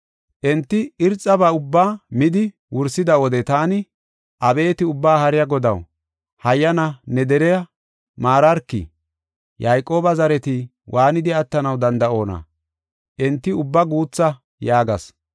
Enti irxaba ubbaa midi wursida wode taani, “Abeeti, Ubbaa Haariya Godaw, hayyana ne deriya maararki! Yayqooba zareti waanidi attanaw danda7oona? Enti ubba guutha!” yaagas.